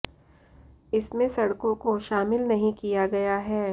इसमें सड़कों को शामिल नहीं किया गया है